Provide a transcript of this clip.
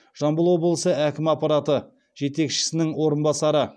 жамбыл облысы әкімі аппараты жетекшісінің орынбасары